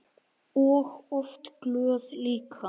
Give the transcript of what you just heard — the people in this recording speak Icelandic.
Og oft glöð líka.